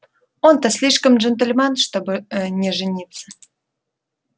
он-то слишком джентльмен чтобы ээ не жениться